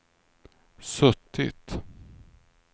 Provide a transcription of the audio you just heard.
suttit